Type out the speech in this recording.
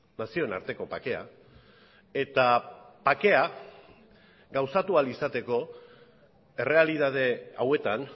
nazioen arteko bakea eta bakea gauzatu ahal izateko errealitate hauetan